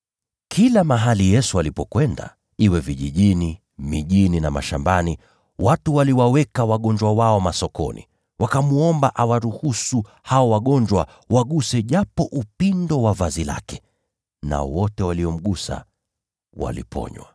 Kila mahali Yesu alipokwenda, iwe vijijini, mijini au mashambani, watu waliwaweka wagonjwa wao masokoni. Wakamwomba awaruhusu hao wagonjwa waguse japo upindo wa vazi lake. Nao wote waliomgusa waliponywa.